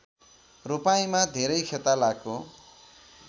रोपाइँमा धेरै खेतालाको